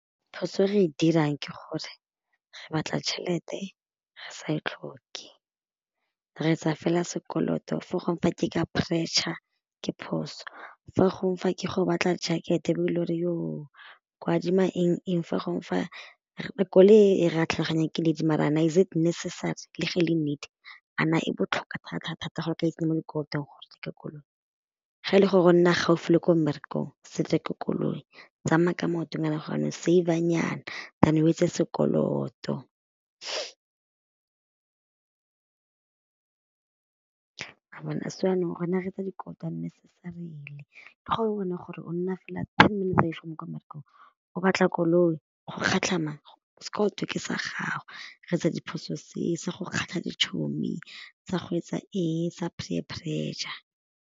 Phoso e re dirang ke gore re batla tšhelete re sa e tlhoke re etsa fela sekoloto fo gongwe fa ke ka pressure ke phoso, fa gongwe fa ke go batla jacket-e ba ile gore , ko adima eng-eng fa gongwe fa koloi ee ra tlhaloganya ke need maar-a na is it necessary le ge e le nee, a na e botlhokwa thatathata gore o ka itsenya mo dikolotong koloi, ga e le gore o nna gaufi le ko mmerekong se koloi, tsamaya ka maoto save-a nyana tham o etse sekoloto. wa bona so jaanong rona re etsa dikoloto unnecessarily le go o bona gore o nna fela fela kwa mmerekong o batla koloi, go kgatlha mang, sekoloto ke sa gago, re etsa diphoso se se go kgatlha dichomi sa go etsa eng sa peer pressure.